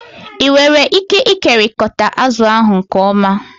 Ị nwere ike ịkekọrịta azụ ahụ nke ọma?